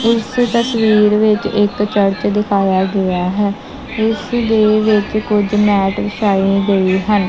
ਇਸ ਤਸਵੀਰ ਵਿੱਚ ਇੱਕ ਚਰਚ ਦਿਖਾਇਆ ਗਿਆ ਹੈ ਜਿਸ ਦੇ ਵਿੱਚ ਕੁਝ ਮੈਟ ਵਿਛਾਏ ਗਏ ਹਨ।